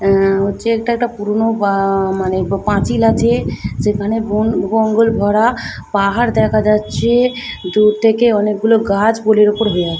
আ হচ্ছে একটা পুরোনো আ মানে পাঁচিল আছে যেখানে বন- বঙ্গল ভরা পাহাড় দেখা যাচ্ছে দূর থেকে অনেক গুলো গাছ পোলের উপর হয়ে আছে।